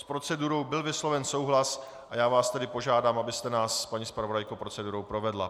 S procedurou byl vysloven souhlas a já vás tedy požádám, abyste nás, paní zpravodajko, procedurou provedla.